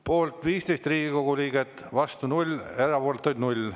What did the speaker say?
Poolt 15 Riigikogu liiget, vastu 0, erapooletuid 0.